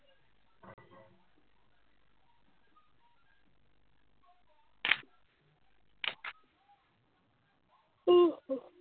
উহ